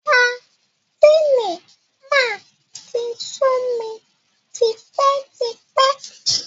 Sadínì máa ti sú mi tipẹ́ tipẹ́.